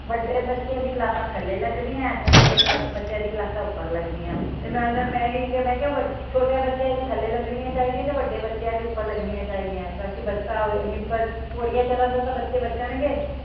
ਵੱਡੇ ਬੱਚਿਆਂ ਦੀਆ ਕਲਾਸਾਂ ਥੱਲੇ ਲਗਦੀਆਂ ਏ ਤੇ ਛੋਟੇ ਕਲਾਸ ਬੱਚਿਆਂ ਦੀਆ ਕਲਾਸਾਂ ਉਪਰ ਲਗਦੀਆਂ ਵੇ ਤੇ ਮੈ ਓਹਨਾਂ ਮੈ ਇਹੀ ਕਿਹਾ ਕੇ ਵੱਡੇ ਛੋਟੇ ਬੱਚਿਆ ਦੀਆ ਥੱਲੇ ਲੱਗਣੀਆਂ ਚਾਹੀਦੀਆਂ ਤੇ ਵੱਡੇ ਬੱਚਿਆਂ ਦੀ ਉਪਰ ਲੱਗਣੀਆਂ ਚਾਹੀਦੀਆਂ ਤਾ ਕੇ ਬਸਤਾ ਹੋਵੇ ਏਨੀ ਉਪਰ ਪੌੜੀਆਂ ਚਰਣ ਤੋਂ ਤਾ ਬੱਚੇ ਬਚਣਗੇ।